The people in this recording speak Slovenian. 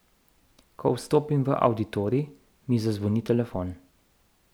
Ko vstopim v avditorij, mi zazvoni telefon.